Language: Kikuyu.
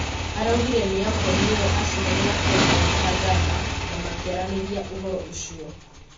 Araugire niarakorirwo acemania na President Kagama na makiaraniria ũhoro ucio.